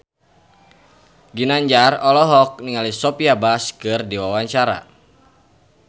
Ginanjar olohok ningali Sophia Bush keur diwawancara